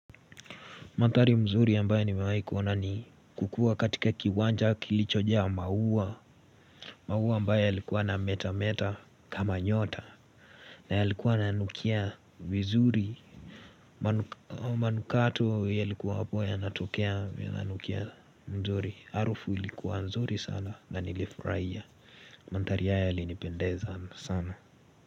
Mandhari mzuri ambaye nimewaikuona ni kukua katika kiwanja kilichoja maua maua ambayo yalikuwa na metameta kama nyota na yalikuwa na nukia mzuri manukato yalikuwa hapo ya natukea ya nukia mzuri Harufu ilikuwa nzuri sana na nilifuraiya mandhari haya yalinipendeza sana.